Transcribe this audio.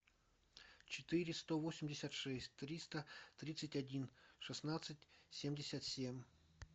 четыреста восемьдесят шесть триста тридцать один шестнадцать семьдесят семь